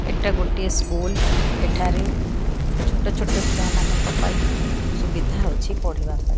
ଏଟା ଗୋଟିଏ ସ୍କୁଲ୍ ଏଠାରେ ଛୋଟ ଛୋଟ ଛୁଆମାନଙ୍କ ପାଇଁ ସୁବିଧା ଅଛି ପଢିବା ପାଇଁ।